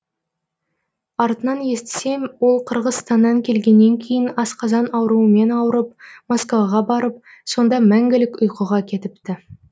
артынан естісем ол қырғызстаннан келгеннен кейін асқазан ауруымен ауырып москваға барып сонда мәңгілік ұйқыға кетіпті